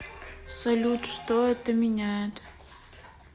салют что это меняет